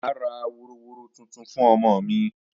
Mà á ra woroworo tuntun fún ọmọ mi